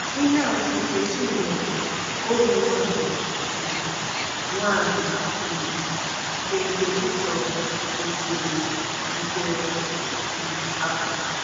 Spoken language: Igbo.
Ihe atụ nke Chinyere, ohu nwanyị um nwanyị um nke Nkèchíchòr, gosiri nke um a.